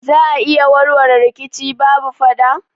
Za a iya warware rikici babu fada?